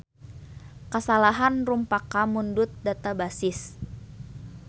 Kasalahan rumpaka mundut databasis.